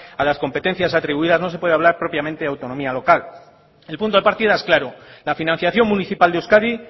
a las competencias atribuidas no se pueden hablar propiamente autonomía local el punto de partida es claro la financiación municipal de euskadi